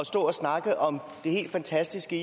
stå og snakke om det helt fantastiske